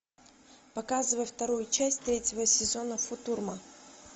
показывай вторую часть третьего сезона футурама